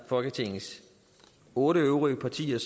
folketingets otte øvrige partier